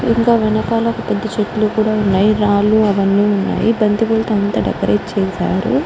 ఇంకా వెనకాల పెద్ద చెట్లు కూడా వున్నాయి రాళ్ళూ అవన్నీ వున్నాయి బంతి పూలతో అంతా డెకరేట్ చేసారు.